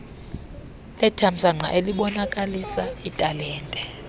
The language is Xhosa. lethamsanqa elibonakalisa italente